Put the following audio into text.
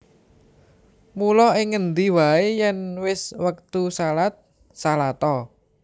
Mula ing ngendi waé yèn wis wektu shalat shalat a